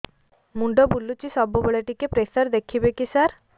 ମୁଣ୍ଡ ବୁଲୁଚି ସବୁବେଳେ ଟିକେ ପ୍ରେସର ଦେଖିବେ କି ସାର